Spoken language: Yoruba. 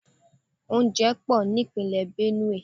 Oúnjẹ pò ní Ìpínlẹ̀ Benue.